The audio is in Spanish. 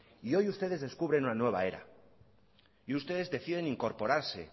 y hoy ustedes descubren una nueva era y ustedes deciden incorporarse